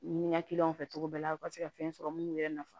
Ɲini ka fɛ cogo bɛɛ la u ka se ka fɛn sɔrɔ mun yɛrɛ nafa